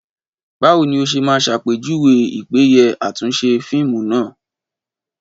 Báwo ni o ṣe máa ṣàpèjúwe ìpéye àtúnṣe fíìmù náà?